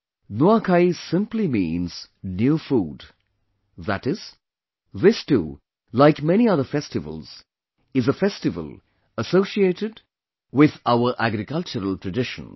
Nuakhai simply means new food, that is, this too, like many other festivals, is a festival associated with our agricultural traditions